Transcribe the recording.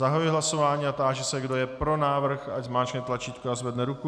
Zahajuji hlasování a táži se, kdo je pro návrh, ať zmáčkne tlačítko a zvedne ruku.